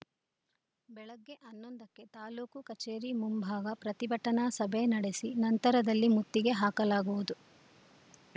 ಬೆಳಗ್ಗೆ ಹನ್ನೊಂದಕ್ಕೆ ತಾಲೂಕು ಕಚೇರಿ ಮುಂಭಾಗ ಪ್ರತಿಭಟನಾ ಸಭೆ ನಡೆಸಿ ನಂತರದಲ್ಲಿ ಮುತ್ತಿಗೆ ಹಾಕಲಾಗುವುದು